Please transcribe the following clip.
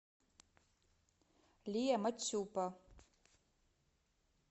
лия мачупа